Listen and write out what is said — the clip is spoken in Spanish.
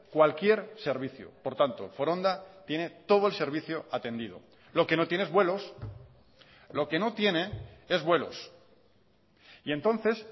cualquier servicio por tanto foronda tiene todo el servicio atendido lo que no tiene es vuelos lo que no tiene es vuelos y entonces